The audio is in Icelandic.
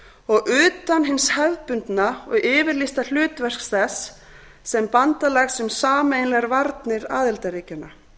og utan hins hefðbundna og yfirlýsta hlutverks þess sem bandalags um sameiginlegar varnir aðildarríkjanna